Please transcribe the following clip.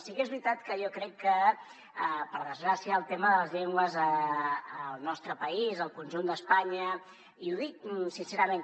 sí que és veritat que jo crec que per desgràcia el tema de les llengües al nostre país al conjunt d’espanya i ho dic sincerament